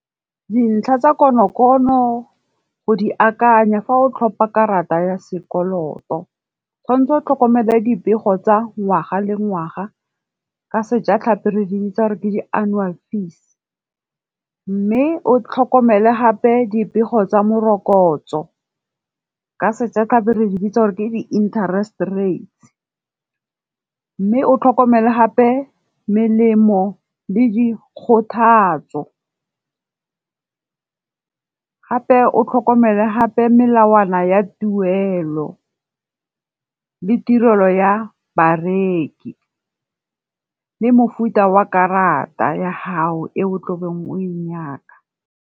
Dintlha tsa konokono o di akanya fa o tlhopa karata ya sekoloto, tshwantse o tlhokomele dipego tsa ngwaga le ngwaga. Ka sejatlhapi re di bitsa gore ke di annual fees. Mme o tlhokomele gape dipego tsa morokotso, ka sejatlhapi re di bitsa gore ke di interest rates. Mme o tlhokomele gape melemo le di kgothatso. Gape o tlhokomele gape melawana ya tuelo, le tirelo ya bareki, le mofuta wa karata ya gago e o tlabeng o e nyaka.